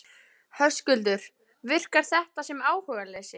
Höskuldur: Virkar þetta sem áhugaleysi?